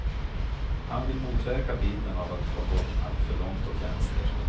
Han vill motverka bilden av att ha gått alltför långt åt vänster.